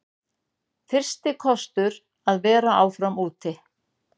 Fyrsti kostur að vera áfram úti